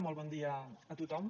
molt bon dia a tothom